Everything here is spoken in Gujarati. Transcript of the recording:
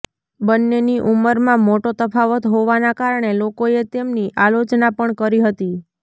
બંનેની ઉંમરમાં મોટો તફાવત હોવાના કારણે લોકોએ તેમની આલોચના પણ કરી હતી